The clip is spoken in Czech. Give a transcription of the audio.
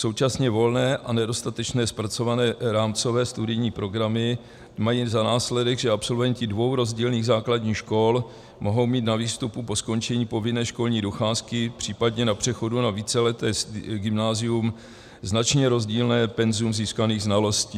Současně volné a nedostatečně zpracované rámcové studijní programy mají za následek, že absolventi dvou rozdílných základních škol mohou mít na výstupu po skončení povinné školní docházky, případně na přechodu na víceleté gymnázium značně rozdílné penzum získaných znalostí.